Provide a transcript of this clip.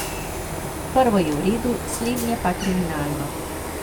Prvo je v redu, slednje pa kriminalno.